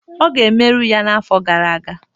Oge emeru ya n'afọ gara aga.